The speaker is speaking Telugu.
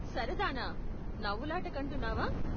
సరదానా? నవ్వులాటకు అంటున్నావా?